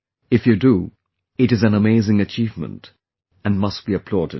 If you do, it is an amazing achievement and must be applauded